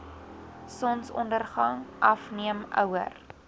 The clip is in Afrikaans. sonsondergang afneem ouer